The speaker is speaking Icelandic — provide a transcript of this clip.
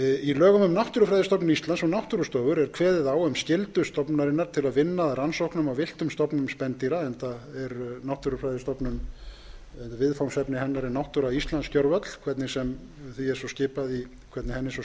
í lögum um náttúrufræðistofnun íslands og náttúrustofur er kveðið á um skyldu stofnunarinnar til vinna að rannsóknum á villtum stofnum spendýra enda er viðfangsefni náttúrufræðistofnunar náttúra íslands gervöll hvernig sem henni er svo skipað í